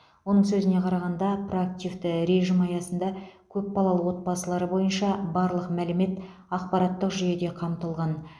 оның сөзіне қарағанда проактивті режім аясында көпбалалы отбасылар бойынша барлық мәлімет ақпараттық жүйеде қамтылған